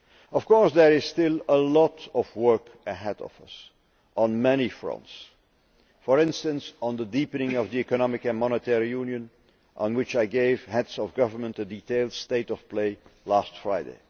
Of course, there is still a lot of work ahead of us, on many fronts for instance on the deepening of Economic and Monetary Union, on which I gave heads of government a detailed state of play last Friday.